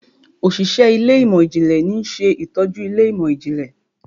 Òṣìṣẹ́ Ilé ìmọ̀n-jinlẹ ní ṣe ìtọjú Ilé ìmọ̀n-jinlẹ.